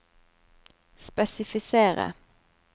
spesifisere